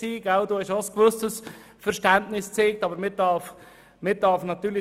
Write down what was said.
Grossrat Alberucci zeigte ein gewisses Verständnis für die Motion.